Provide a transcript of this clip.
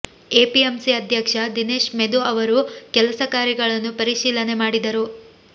APMC ಅಧ್ಯಕ್ಷ ದಿನೇಶ್ ಮೆದು ಅವರು ಕೆಲಸ ಕಾರ್ಯಗಳನ್ನು ಪರಿಶೀಲನೆ ಮಾಡಿದರು